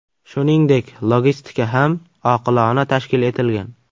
Shuningdek, logistika ham oqilona tashkil etilgan.